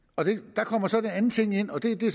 der kommer så en anden ting ind og det